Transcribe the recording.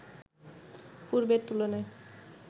পূর্বের তুলনায়